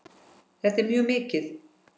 Það er mjög mikið.